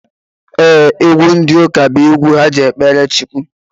Ee, egwu ndi ụka bụ egwu ha ji ekpere Chukwu